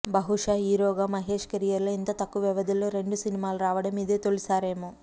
బహుశా హీరోగా మహేష్ కెరీర్లో ఇంత తక్కువ వ్యవధిలో రెండు సినిమాలు రావడం ఇదే తొలిసారేమో